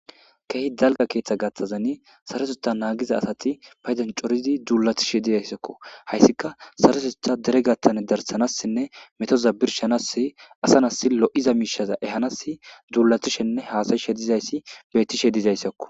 keehi dalga keeththa gaththazen saresota naagiza asati paydan corizi duulatishe dizayssakko hayssika saresetha dere gattan darsanassinne metooza birshanassi asanasi lo7iza miishaza ehanas duulatishenne haasayishe dizayssi bettishe dizayssakko